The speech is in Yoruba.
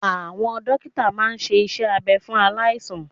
Awọn dókítà máa ṣe iṣẹ́ abẹ fún aláìsàn